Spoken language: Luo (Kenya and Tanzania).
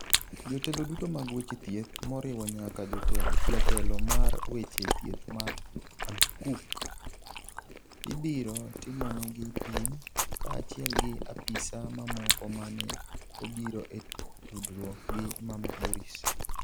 Jotelo duto mag weche thieth, moriwo nyaka jatelo mar weche thieth Matt Hancock, ibiro timonegi pim, kaachiel gi apisa mamoko mane obiro e tudruok gi mama Dorries.